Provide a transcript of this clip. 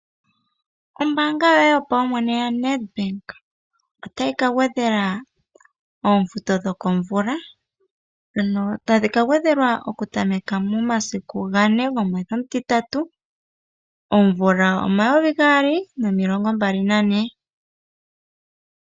Ombaanga yoye yopaumwene yaNEDBANK otayi ka gwedhela oofuto dhokomvula, ndhono tadhi ka gwedhelwa oku tameka momasiku gane gomwedhi omutitatu, omvula omayovi gaali nomilongo mbali nane.